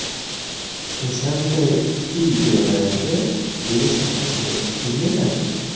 O‘shanday uy-joylarga erishamiz deb o‘ylagandik.